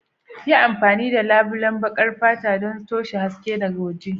Yi amfani da labulen baƙar fata don toshe haske daga waje.